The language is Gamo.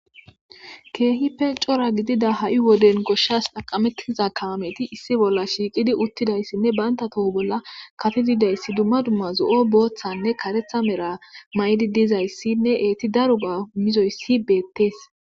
Keehippe cora gidida ha'i wode gosahsi xaqametiza kaameti issi bolla shiiqidi utidaysinne banta toho bolla kapetid de'iyayasi dumma dumma zo'o,boothanne karethi Mera mayidi dizaysinne eeti daro go'a imizoysi beetesi.